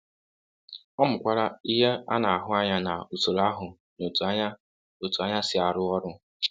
Ọ mụokwara ihe a na-ahụ anya na usoro ahụ na otu anya otu anya si arụ ọrụ.